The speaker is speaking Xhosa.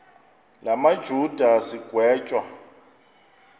la majuda sigwetywa